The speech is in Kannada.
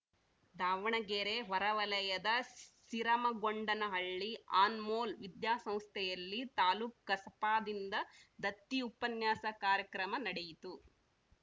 ದಾವಣಗೆರೆ ಹೊರವಲಯದ ಸಿರಮಗೊಂಡನಹಳ್ಳಿ ಅನ್‌ಮೋಲ್‌ ವಿದ್ಯಾಸಂಸ್ಥೆಯಲ್ಲಿ ತಾಲ್ಲುಕು ಕಸಾಪದಿಂದ ದತ್ತಿ ಉಪನ್ಯಾಸ ಕಾರ್ಯಕ್ರಮ ನಡೆಯಿತು